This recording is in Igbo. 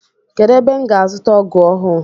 Kedụ ebe m ga azuta ọgụ ọhụụ?